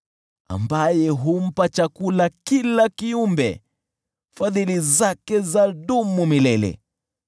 Ambaye humpa chakula kila kiumbe. Fadhili zake zadumu milele .